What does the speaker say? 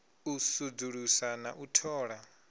u sudzulusa na u thola